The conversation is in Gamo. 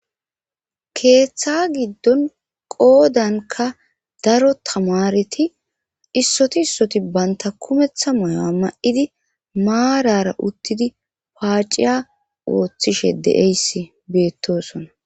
keeththa giddon qoodanka daro tamareti issoti issoti banta kumeththa moya ma7idi maarara uttidi paaciya wooththishe de7eyssi beettosona